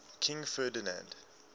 king ferdinand